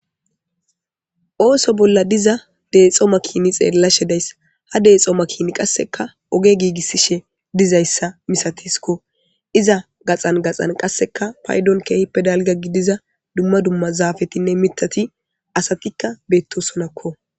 ooso bolla diza deexo makiini xeellashe days ha deexo makini qasseka oge giigissishe dizayssa misatisikko iza gaxan gaxan qasseka paydon keehippe dalga gidiza dumma dumma zaafetinne mitati asatikka beettosonakko